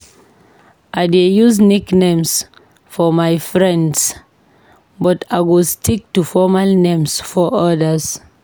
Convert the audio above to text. I dey use nicknames for my friends, but I go stick to formal names for others.